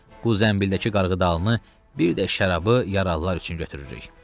Qoy zənbildəki qarğıdalını bir də şərabı yaralılar üçün götürürük.